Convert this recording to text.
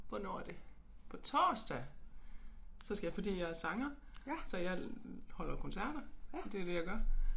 Hvornår er det på torsdag så skal jeg fordi jeg er sanger så jeg holder koncerter og det det jeg gør